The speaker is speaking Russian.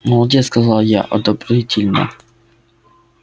молодец сказал я одобрительно